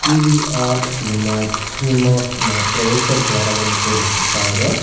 PVR cinema cinemas ನ ಪ್ರವೇಶ ದ್ವಾರವನ್ನು ತೋರಿಸುತ್ತಾ ಇದೆ.